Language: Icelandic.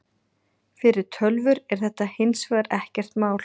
Fyrir tölvur er þetta hins vegar ekkert mál.